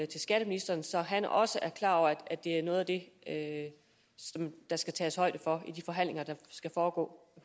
til skatteministeren så han også er klar over at det er noget af det som der skal tages højde for i de forhandlinger der skal foregå